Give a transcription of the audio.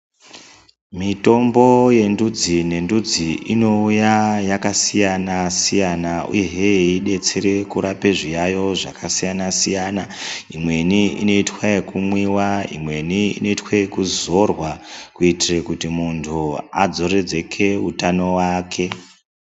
Mitombo yendudzi bendudzi inouya yakasiyana siyana uye hee yeidetsera kurapa zviyaiyo zvakasiyana siyana. Imweni inoitwa ekumwiwa, imweni inoitwa ekuzorwa kuitira kuti muntu adzoredzeke utano hwake.